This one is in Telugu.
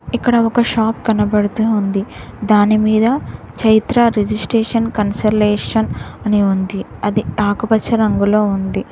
ఇక్కడ ఒక షాప్ కనబడుతూంది ఉంది దాని మీద చైత్ర రిజిస్ట్రేషన్ కన్సలేషన్ అని ఉంది అది ఆకుపచ్చ రంగులో ఉంది.